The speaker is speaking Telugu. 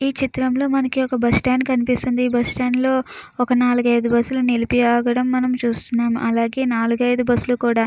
ఈ చిత్రంలో మనకు ఒక బస్టాండ్ కనిపిస్తుంది. బస్టాండ్ లో ఒక నాలుగు ఐదు బస్సు లు నిలిపి అవి ఉండడం మనం చూస్తున్నామ్ . అలాగే నాలుగైదు బస్సు లు కూడా--